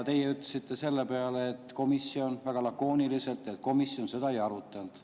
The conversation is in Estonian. Teie ütlesite selle peale väga lakooniliselt, et komisjon seda ei arutanud.